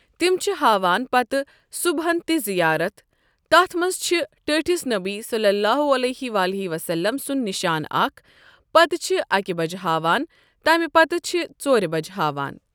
تِم چھِ ہاوان پَتہٕ صُبحَن تہِ زِیارتھ۔ تَتھ منٛز چھُ ٹٲٹِھس نبی صَلَّی اللہ عَلَیہِ وَسَلَم سُند نِشان اَکھ ۔ پَتہٕ چھ اَکہِ بَجہِ ہاوان۔ تِمہ پتہٕ چِھ ژورِ بَجہِ ہاوان۔